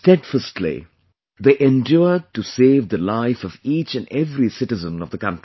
Steadfastly, they endured to save the life of each and every citizen of the country